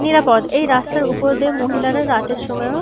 নিরাপদ এই রাস্তার উপর দিয়ে মহিলারা রাতের সময়ও--